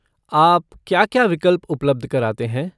आप क्या क्या विकल्प उपलब्ध कराते हैं?